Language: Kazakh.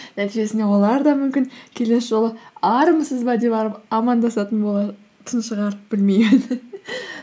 нәтижесінде олар да мүмкін келесі жолы армысыз ба деп амандасатын болатын шығар білмеймін